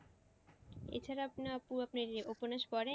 এছাড়া আপনি আপু আপনি উপন্যাস পড়েন?